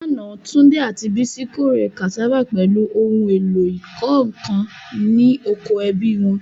Lánàá, Tunde àti Bisi kórè cassava pẹ̀lú ohun èlò ìkọ́ nǹkan ní oko ẹbí wọn.